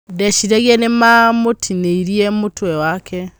ndeciragia nĩmamũtinirĩe mũtwe wake.